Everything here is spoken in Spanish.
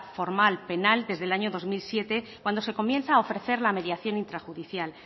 formal penal desde el año dos mil siete cuando se comienza a ofrecer la mediación intrajudicial